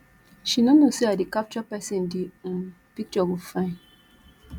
she no know say i dey capture person the um picture go fine